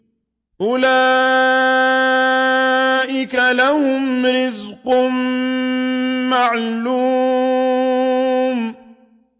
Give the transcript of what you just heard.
أُولَٰئِكَ لَهُمْ رِزْقٌ مَّعْلُومٌ